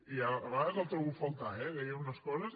i a vegades el trobo a faltar eh deia unes coses